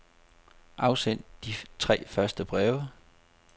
Afsend de tre første breve.